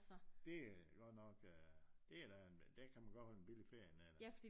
Det er godt nok øh det da en der kan man godt holde en billig ferie dernede da